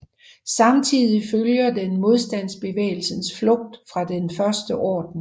Samtidig følger den Modstandsbevægelsens flugt fra Den første orden